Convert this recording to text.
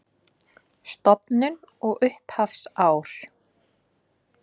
Stofnun og upphafsár